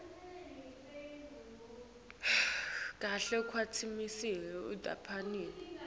kahle kwetinhlelo tahulumende